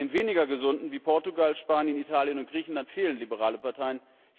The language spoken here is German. Bei den weniger gesunden, wie Portugal, Spanien, Italien und Griechenland, fehlen liberale Parteien.